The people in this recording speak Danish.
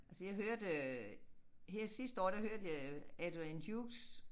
Altså jeg hørte øh her sidste år der hørte jeg Adrian Hughes